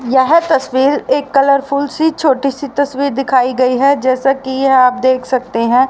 यह तस्वीर एक कलरफुल सी छोटी सी तस्वीर दिखाई गई है जैसे कि आप देख सकते हैं।